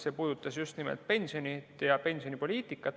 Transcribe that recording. See puudutas just nimelt pensioni ja pensionipoliitikat.